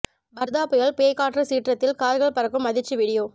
வர்தா புயல் பேய் காற்று சீற்றத்தில் கார்கள் பறக்கும் அதிர்ச்சி வீடியோ